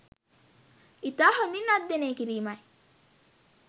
ඉතා හොඳින් අධ්‍යයනය කිරීමයි